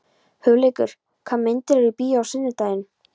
Hugleikur, hvaða myndir eru í bíó á sunnudaginn?